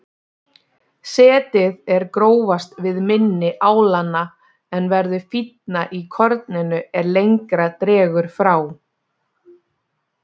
Setið er grófast við mynni álanna en verður fínna í korninu er lengra dregur frá.